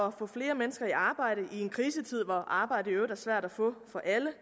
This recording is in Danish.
at få flere mennesker i arbejde i en krisetid hvor arbejde i øvrigt er svært at få for alle